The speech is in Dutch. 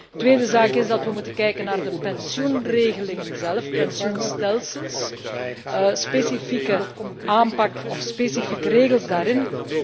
Een tweede zaak is dat we moeten kijken naar de pensioenregelingen zelf, de pensioenstelsels, de specifieke aanpak en de specifieke regels daarin.